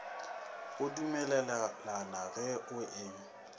go dumelelana ge go e